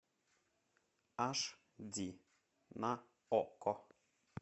аш ди на окко